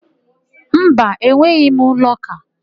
Mba, enweghị m lọka.